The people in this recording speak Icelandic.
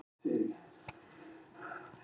Margir voru mjög reiðir